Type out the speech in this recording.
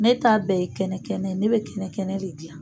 Ne ta bɛɛ ye kɛnɛ kɛnɛ , ne bɛ kɛnɛ kɛnɛ de dilan!